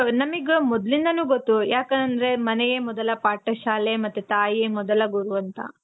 ನಮಿಗ್ ಮೊದಲಿಂದನು ಗೊತ್ತು ಯಾಕಂದ್ರೆ ಮನೆಯೇ ಮೊದಲ ಪಾಠ ಶಾಲೆ ಮತ್ತೆ ತಾಯಿಯೇ ಮೊದಲ ಗುರು ಅಂತ.